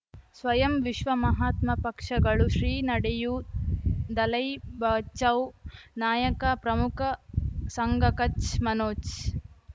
ಸ್ವಯಂ ವಿಶ್ವ ಮಹಾತ್ಮ ಪಕ್ಷಗಳು ಶ್ರೀ ನಡೆಯೂ ದಲೈ ಬಚೌ ನಾಯಕ ಪ್ರಮುಖ ಸಂಘ ಕಚ್ ಮನೋಜ್